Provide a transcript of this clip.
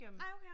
Nej okay